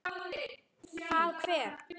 Hvað, hver?